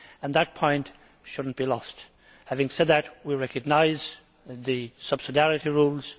That point should not be lost. Having said that, we recognise the subsidiarity rules.